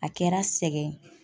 A kɛra sɛgɛn